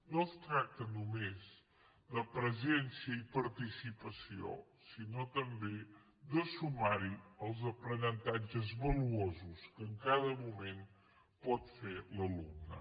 no es tracta només de presència i participació sinó també de sumar hi els aprenentatges valuosos que en cada moment pot fer l’alumne